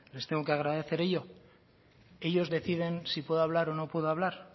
les tengo que agradecer de ello ellos deciden si puedo hablar o no puedo hablar